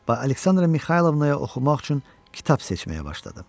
Və Aleksandra Mixaylovnaya oxumaq üçün kitab seçməyə başladım.